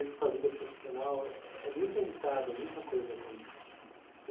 Eu vejo que sua vida profissional é é muito agitada, muita coisa acontecendo né.